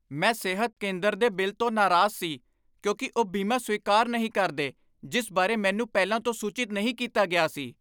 ਮੈਂ ਸਿਹਤ ਕੇਂਦਰ ਦੇ ਬਿੱਲ ਤੋਂ ਨਾਰਾਜ਼ ਸੀ ਕਿਉਂਕਿ ਉਹ ਬੀਮਾ ਸਵੀਕਾਰ ਨਹੀਂ ਕਰਦੇ ਜਿਸ ਬਾਰੇ ਮੈਨੂੰ ਪਹਿਲਾਂ ਤੋਂ ਸੂਚਿਤ ਨਹੀਂ ਕੀਤਾ ਗਿਆ ਸੀ।